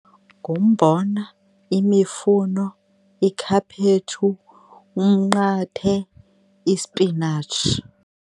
Ngumbona, imifuno, ikhaphetshu, umnqathe, isipinatshi.